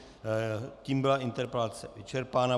Tím byla interpelace vyčerpána.